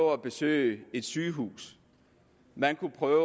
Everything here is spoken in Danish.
at besøge et sygehus man kunne prøve